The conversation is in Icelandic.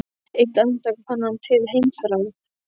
Eitt andartak fann hann til heimþrár.